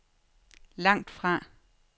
langtfra